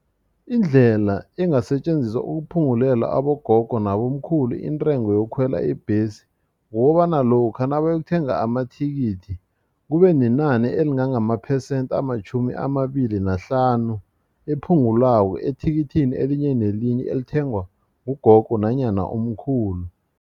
Indlela engasetjenziswa ukuphungulela abogogo nabobamkhulu intengo yokukhwela ibhesi kukobana lokha nabayokuthenga amathikithi kube nenani elingange amaphesenti amatjhumi amabili nahlanu ephungulwako ethikithini elinye nelinye elithengwa ngugogo nanyana umkhulu.